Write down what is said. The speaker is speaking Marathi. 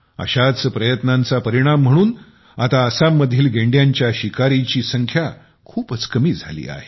अशाच प्रयत्नांचा परिणाम म्हणून आता आसाममधील गेंड्यांच्या शिकारीची संख्या खूप कमी झाली आहे